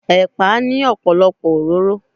Ẹ̀pà ní ọ̀pọ̀lọpọ̀ òróró.